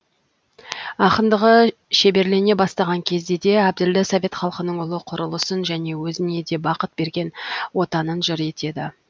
ақындығы шеберлене бастаған кезде де әбділда совет халқының ұлы құрылысын және өзіне де бақыт берген отанын жыр етеді